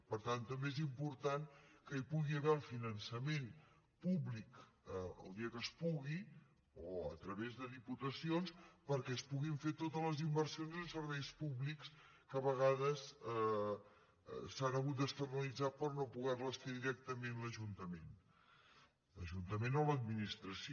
per tant també és important que hi pugui haver el finançament públic el dia que es pugui o a través de diputacions perquè es puguin fer totes les inversions en serveis públics que a vegades s’han hagut d’externalitzar per no poder les fer directament l’ajuntament l’ajuntament o l’administració